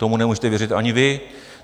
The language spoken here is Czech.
Tomu nemůžete věřit ani vy.